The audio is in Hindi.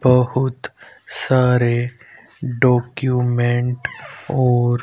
बहुत सारे डॉक्यूमेंट और--